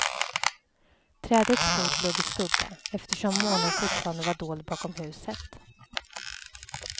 Trädets fot låg i skugga, eftersom månen fortfarande var dold bakom huset.